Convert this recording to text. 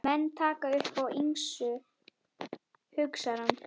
Menn taka upp á ýmsu, hugsar hann.